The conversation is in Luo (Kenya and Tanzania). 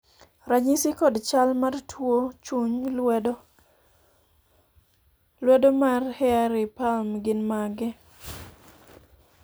ranyisi kod chal mar tuo chuny lwedo mar hairy palm gin mage?